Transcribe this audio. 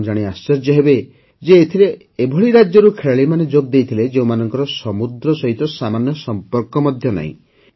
ଆପଣ ଜାଣି ଆଶ୍ଚର୍ଯ୍ୟ ହେବେ ଯେ ଏଥିରେ ଏଭଳି ରାଜ୍ୟରୁ ଖେଳାଳିମାନେ ଯୋଗଦେଇଥିଲେ ଯେଉଁମାନଙ୍କର ସମୁଦ୍ର ସହିତ ସାମାନ୍ୟ ସମ୍ପର୍କ ମଧ୍ୟ ନାହିଁ